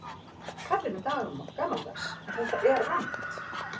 Kallið mig gamaldags en þetta er rangt.